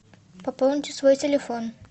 пополните свой телефон